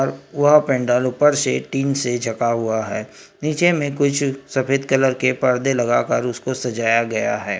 और वह पेंडाल ऊपर से टीन से झका हुआ है नीचे में कुछ सफेद कलर के पर्दे लगाकर उसको सजाया गया है।